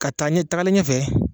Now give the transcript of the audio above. Ka taa ɲɛ tagali ɲɛ fɛ